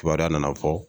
Kibaruya nana fɔ